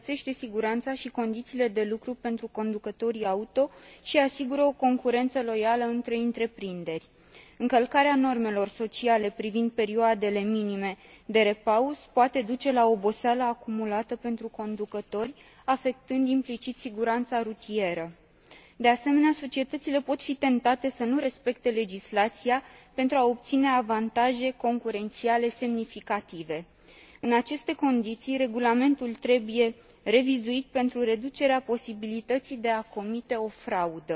Legislația socială în domeniul transportului rutier îmbunătățește siguranța și condițiile de lucru pentru conducătorii auto și asigură o concurență loială între întreprinderi. Încălcarea normelor sociale privind perioadele minime de repaus poate duce la oboseală acumulată pentru conducători, afectând, implicit, siguranța rutieră. De asemenea, societățile pot fi tentate să nu respecte legislația, pentru a obține avantaje concurențiale semnificative. În aceste condiții, regulamentul trebuie revizuit, pentru reducerea posibilității de a comite o fraudă.